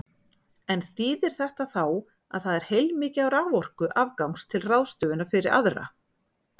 En þýðir þetta þá að það er heilmikið af raforku afgangs til ráðstöfunar fyrir aðra?